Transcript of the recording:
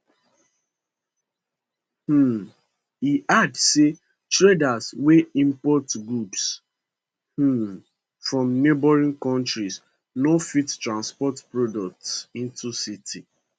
um e add say traders wey import goods um from neighbouring countries no fit transport products into city